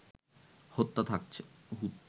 হুত্যা থাকছে